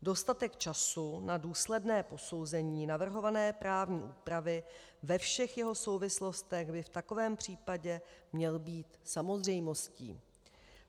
Dostatek času na důsledné posouzení navrhované právní úpravy ve všech jeho souvislostech by v takovém případě měl být samozřejmostí.